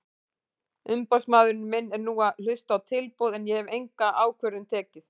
Umboðsmaður minn er nú að hlusta á tilboð en ég hef enga ákvörðun tekið.